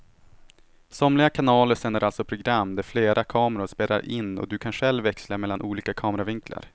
Somliga kanaler sänder alltså program där flera kameror spelar in och du kan själv växla mellan olika kameravinklar.